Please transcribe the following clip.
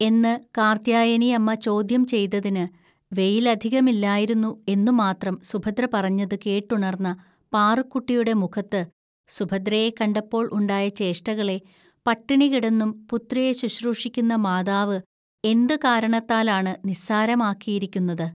എന്ന് കാർത്ത്യായനിഅമ്മ ചോദ്യം ചെയ്തതിന് 'വെയിലധികമില്ലായിരുന്നു ' എന്നു മാത്രം സുഭദ്ര പറഞ്ഞതു കേട്ടുണർന്ന പാറുക്കുട്ടിയുടെ മുഖത്ത് സുഭദ്രയെ കണ്ടപ്പോൾ ഉണ്ടായ ചേഷ്ടകളെ, പട്ടിണികിടന്നും പുത്രിയെ ശുശ്രൂഷിക്കുന്ന മാതാവ് എന്തു കാരണത്താലാണ് നിസ്സാരമാക്കിയിരിക്കുന്നത്